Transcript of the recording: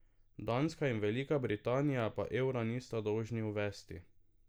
Danska in Velika Britanija pa evra nista dolžni uvesti.